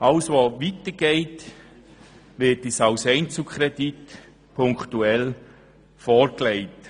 Alles was darüber hinausgeht, wird uns als Einzelkredit punktuell vorgelegt.